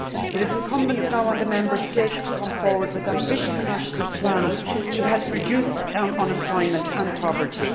It is incumbent now on the Member States to come forward with ambitious national plans to help reduce unemployment and poverty.